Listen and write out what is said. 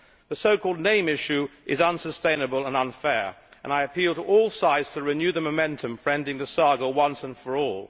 The so called name issue is unsustainable and unfair, and I appeal to all sides to renew the momentum for ending the saga once and for all.